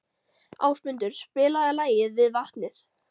Ásmundur, spilaðu lagið „Við vatnið“.